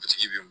A tigi bi